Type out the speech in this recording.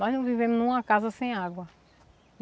Nós não vivemos em uma casa sem água.